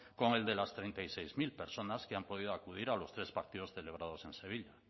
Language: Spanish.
con el de las treinta y seis mil personas que han podido acudir a los tres partidos celebrados en sevilla